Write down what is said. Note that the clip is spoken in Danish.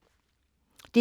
DR2